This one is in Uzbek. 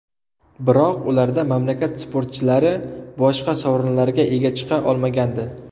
Biroq ularda mamlakat sportchilari boshqa sovrinlarga ega chiqa olmagandi.